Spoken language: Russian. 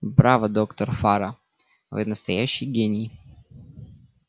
браво доктор фара вы настоящий гений